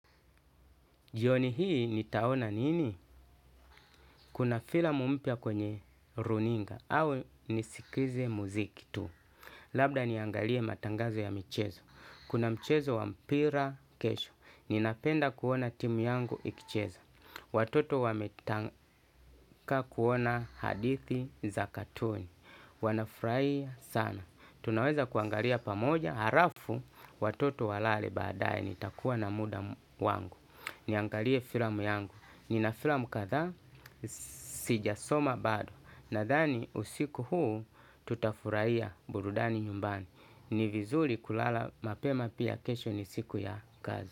Jioni hii nitaona nini? Kuna filamu mpya kwenye runinga au nisikize muziki tu. Labda niangalie matangazo ya michezo. Kuna mchezo wa mpira kesho. Ninapenda kuona timu yangu ikicheza. Watoto wametaka kuona hadithi za katuni. Wanafurahia sana, tunaweza kuangalia pamoja halafu watoto walale baadaye, nitakuwa na muda wangu. Niangalie filamu yangu. Nina filamu kadhaa. Sijasoma bado. Nadhani usiku huu tutafurahia burudani nyumbani. Ni vizuri kulala mapema pia kesho ni siku ya kazi.